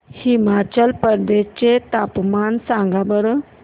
हिमाचल प्रदेश चे तापमान सांगा बरं